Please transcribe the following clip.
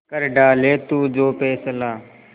कर डाले तू जो फैसला